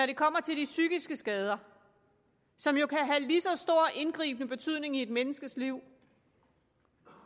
det kommer til de psykiske skader som jo kan have lige så stor indgribende betydning i et menneskes liv